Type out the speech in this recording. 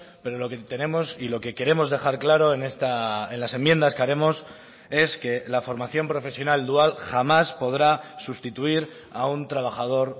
pero lo que tenemos y lo que queremos dejar claro en las enmiendas que haremos es que la formación profesional dual jamás podrá sustituir a un trabajador